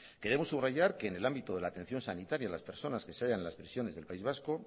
queremos subrayar que en el ámbito de la atención sanitaria de las personas que se hayan en las prisiones del país vasco